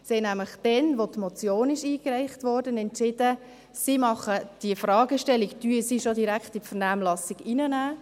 Sie hat nämlich damals, als die Motion eingereicht wurde, entschieden, dass sie diese Fragestellung bereits direkt in die Vernehmlassung hineinnimmt.